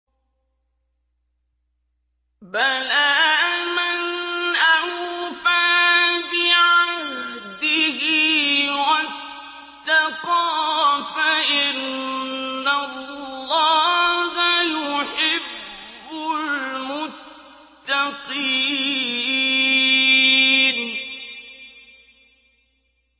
بَلَىٰ مَنْ أَوْفَىٰ بِعَهْدِهِ وَاتَّقَىٰ فَإِنَّ اللَّهَ يُحِبُّ الْمُتَّقِينَ